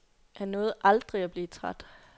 Han nåede aldrig at blive træt.